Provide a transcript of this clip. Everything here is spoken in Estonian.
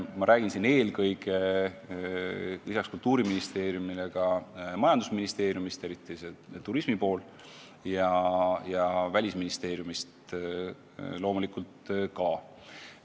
Ma pean peale Kultuuriministeeriumi silmas eelkõige majandusministeeriumi, eriti sealseid turismiga tegelevaid inimesi, ja Välisministeeriumi loomulikult ka.